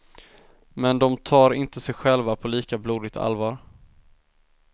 Men de tar inte sig själva på lika blodigt allvar.